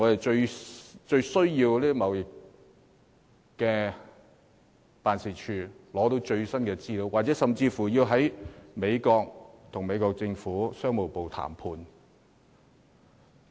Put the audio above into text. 這些均有賴經貿辦為我們取得最新資料，甚至在美國跟美國政府的商務部進行談判。